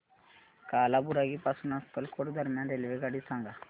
कालाबुरागी पासून अक्कलकोट दरम्यान रेल्वेगाडी सांगा